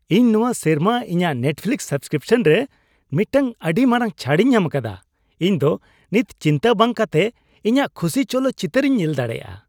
ᱤᱧ ᱱᱚᱶᱟ ᱥᱮᱨᱢᱟ ᱤᱧᱟᱹᱜ ᱱᱮᱴᱯᱷᱤᱞᱤᱠᱥ ᱥᱟᱵᱥᱠᱨᱤᱯᱥᱚᱱ ᱨᱮ ᱢᱤᱫᱴᱟᱝ ᱟᱹᱰᱤ ᱢᱟᱨᱟᱝ ᱪᱷᱟᱹᱲᱤᱧ ᱧᱟᱢ ᱟᱠᱟᱫᱟ ᱾ ᱤᱧ ᱫᱚ ᱱᱤᱛ ᱪᱤᱱᱛᱟᱹ ᱵᱟᱝ ᱠᱟᱛᱮᱫ ᱤᱧᱟᱜ ᱠᱷᱩᱥᱤ ᱪᱚᱞᱚᱛ ᱪᱤᱛᱟᱹᱨᱤᱧ ᱧᱮᱞ ᱫᱟᱲᱮᱭᱟᱜᱼᱟ ᱾